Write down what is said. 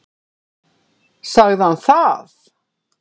Sagði hann það?